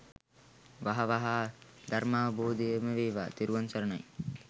වහ වහා ධර්මාවබොධය ම වේවා! තෙරුවන් සරණයි.